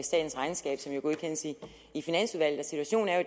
statens regnskab som jo godkendes i i finansudvalget og situationen er